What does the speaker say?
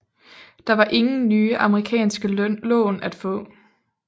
Der var ingen nye amerikanske lån at få